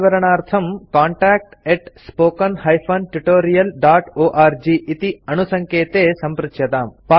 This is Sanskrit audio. अधिकविवरणार्थं कान्टैक्ट् spoken tutorialorg इति अणुसङ्केते सम्पृच्यताम्